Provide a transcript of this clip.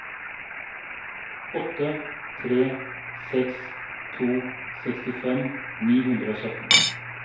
åtte tre seks to sekstifem ni hundre og sytten